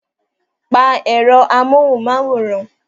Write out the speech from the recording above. Pa èrò amóhunmáwòrán!